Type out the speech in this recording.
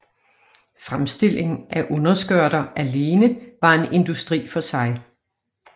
Fremstilling af underskørter alene var en industri for sig